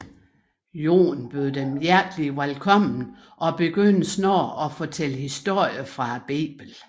Jon bød dem hjerteligt velkomne og begyndte snart at fortælle historier fra biblen